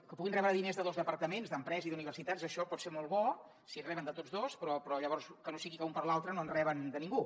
que puguin rebre diners de dos departaments d’empresa i d’universitats això pot ser molt bo si en reben de tots dos però llavors que no sigui que un per l’altre no en reben de ningú